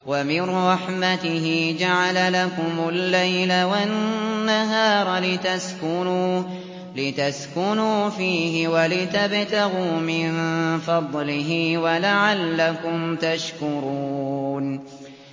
وَمِن رَّحْمَتِهِ جَعَلَ لَكُمُ اللَّيْلَ وَالنَّهَارَ لِتَسْكُنُوا فِيهِ وَلِتَبْتَغُوا مِن فَضْلِهِ وَلَعَلَّكُمْ تَشْكُرُونَ